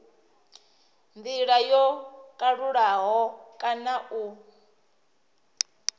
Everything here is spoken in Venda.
ndila yo kalulaho kana u